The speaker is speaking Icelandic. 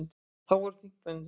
Þá voru þingmenn tveir.